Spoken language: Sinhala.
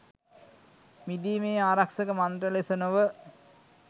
මිදීමේ ආරක්‍ෂක මන්ත්‍ර ලෙස නොව